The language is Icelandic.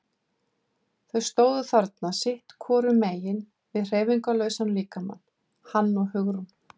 Þau stóðu þarna sitt hvorum megin við hreyfingarlausan líkamann, hann og Hugrún.